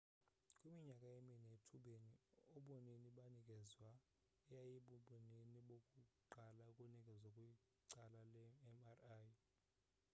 kwiminyaka emine ethubeni ubunini banikezwa eyayibubunini bokuqala ukunikezwa kwical le mri